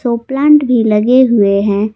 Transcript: और प्लांट भी लगे हुवे हैं।